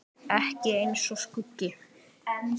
Ekki eins og skuggi.